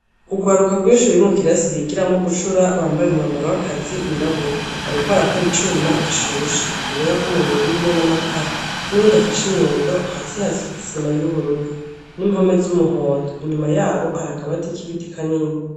Urwaruka rwinshi ruri mu kirasi bigiramwo gucura bambaye umwambaro w'akazi wirabura. Bariko barakora icuma gishushe urubeya rw'umuriro rurimwo n'amakara n'uwundi afashe inyundo hasi hasize isima y'ubururu n'impome z'umuhondo inyuma yabo hari akabati k'ibiti kanini.